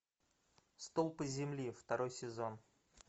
столпы земли второй сезон